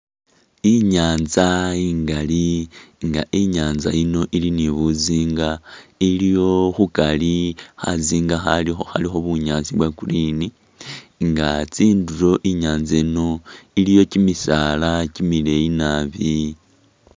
Inyanza ingali nga inyanza yino ili ni buzinga iliyo khukhari khazinga khalikho khalikho bunyaasi bwa green inga tsinduro inyatsa eno iliyo kyimisaala kyimileeyii naabi.